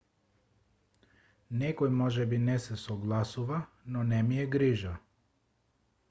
некој можеби не се согласува но не ми е грижа